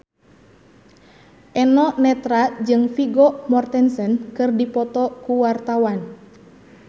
Eno Netral jeung Vigo Mortensen keur dipoto ku wartawan